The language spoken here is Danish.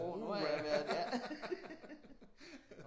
Uha nu har jeg været ja